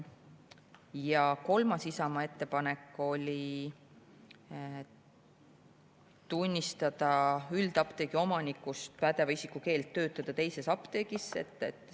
Ja kolmas Isamaa ettepanek oli tunnistada üldapteegi omanikust pädeva isiku keeld töötada teises apteegis kehtetuks.